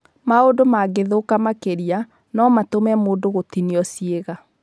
Maũndu mangĩthũka makĩria, no matũme mũndũ gũtinio ciĩga.